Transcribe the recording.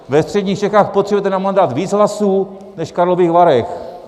Ve středních Čechách potřebujete na mandát víc hlasů než v Karlových Varech.